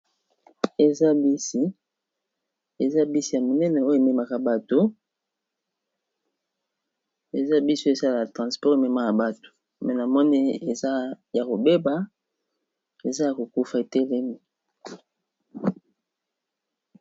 Eza bisi ya monene oyo ememaka bato eza biso esalaya transport ememaka bato me na mone eza ya kobeba eza ya kokufa etelemi.